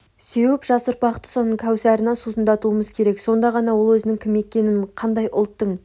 сеуіп жас ұрпақты соның кәусарына сусындатуымыз керек сонда ғана ол өзінің кім екенін қандай ұлттың